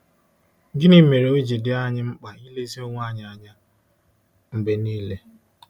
Gịnị mere o ji dị anyị mkpa ilezi onwe anyị anya mgbe nile?